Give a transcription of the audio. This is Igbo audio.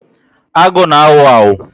Agụ na awu awu